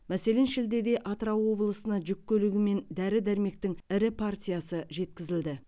мәселен шілдеде атырау облысына жүк көлігімен дәрі дәрмектің ірі партиясы жеткізілді